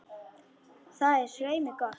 Það er svei mér gott.